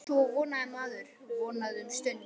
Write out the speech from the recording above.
Svo vonaði maður, vonaði um stund.